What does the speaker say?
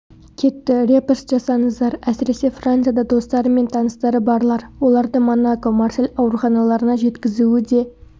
кетті репост жасаңыздар әсіресе францияда достары мен таныстары барлар оларды монако марсель ауруханаларына жеткізуі де